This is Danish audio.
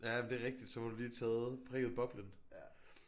Jamen det er rigtigt. Så har du lige taget prikket boblen